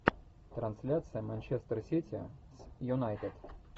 трансляция манчестер сити с юнайтед